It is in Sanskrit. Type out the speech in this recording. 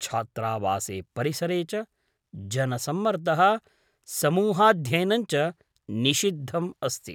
छात्रावासे परिसरे च जनसम्मर्दः समूहाध्ययनं च निषिद्धम् अस्ति ।